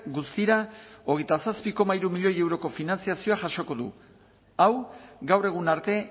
guztira hogeita zazpi koma hiru milioi euroko finantzazioa jasoko du hau gaur egun arte